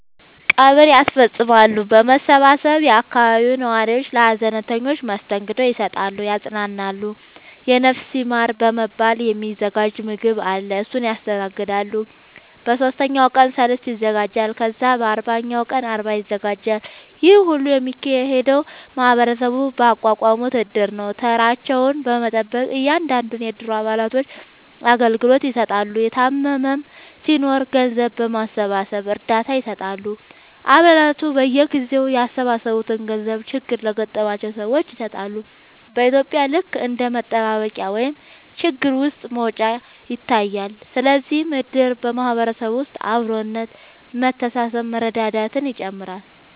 ቀብር ያስፈፅማሉ በመሰባሰብ የአካባቢው ነዋሪዎች ለሀዘንተኞች መስተንግዶ ይሰጣሉ ያፅናናሉ የነፍስ ይማር በመባል የ ሚዘጋጅ ምገባ አለ እሱን ያስተናግዳሉ በ ሶስተኛው ቀን ሰልስት ይዘጋጃል ከዛ በ አርባኛው ቀን አርባ ይዘጋጃል ይሄ ሁሉ የሚካሄደው ማህበረሰቡ ባቋቋሙት እድር ነው ተራቸውን በመጠበቅ እያንዳንዱን የ እድሩ አባላቶች አገልግሎት ይሰጣሉ የታመመም ሲናኖር ገንዘብ በማሰባሰብ እርዳታ ይሰጣሉ አ ባላቱ በየጊዜው ያሰባሰቡትን ገንዘብ ችግር ለገጠማቸው ሰዎች ይሰጣሉ በ ኢትዩጵያ ልክ እንደ መጠባበቂያ ወይም ችግር ውስጥ መውጫ ይታያል ስለዚህም እድር በ ማህበረሰብ ውስጥ አብሮነት መተሳሰብ መረዳዳትን ይጨምራል